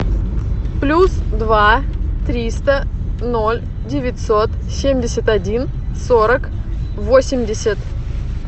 плюс два триста ноль девятьсот семьдесят один сорок восемьдесят